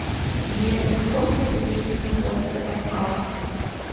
сбер на каком континенте находится кавказ